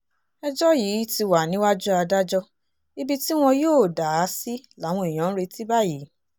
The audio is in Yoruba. ẹjọ́ yìí ti wà níwájú adájọ́ ibi tí wọn yóò dà á sí làwọn èèyàn ń retí báyìí